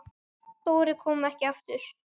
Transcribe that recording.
Dóri kom ekki aftur.